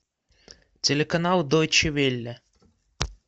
телеканал дойче велле